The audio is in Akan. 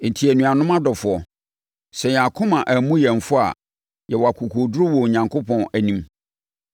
Enti, anuanom adɔfoɔ, sɛ yɛn akoma ammu yɛn fɔ a, yɛwɔ akokoɔduru wɔ Onyankopɔn anim.